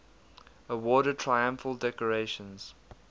awarded triumphal decorations